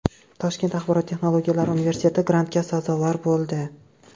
Toshkent axborot texnologiyalari universiteti grantga sazovor bo‘ldi.